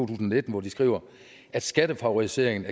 og nitten hvor de skriver at skattefavoriseringen